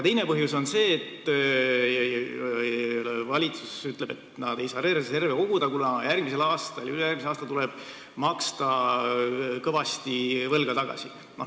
Teine põhjus on selline: valitsus ütleb, et nad ei saa reserve koguda, kuna järgmisel ja ülejärgmisel aastal tuleb maksta kõvasti võlga tagasi.